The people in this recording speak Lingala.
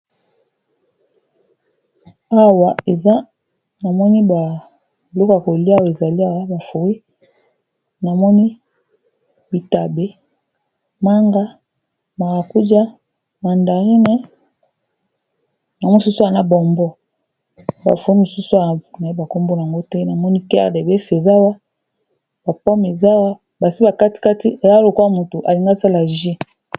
Awa, eza na moni ba biloko ya kolia, oyo ezali awa ba frui. Namoni bitabe, manga, marakuja, mandarine. Na mususu awa na bombo. Ba frui mususu, na yebi ba kombo nango te. Namoni, kere de bef eza awa, ba pome basi bakatikati. Eza lokola, motu alingi asala ju.